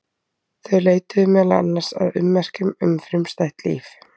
Þau leituðu meðal annars að ummerkjum um frumstætt líf.